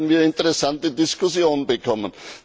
Und da werden wir interessante Diskussionen bekommen.